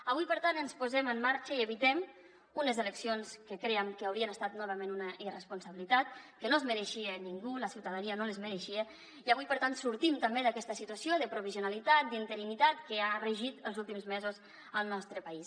avui per tant ens posem en marxa i evitem unes eleccions que crèiem que haurien estat novament una irresponsabilitat que no es mereixia ningú la ciutadania no les mereixia i avui per tant sortim també d’aquesta situació de provisionalitat d’interinitat que ha regit els últims mesos al nostre país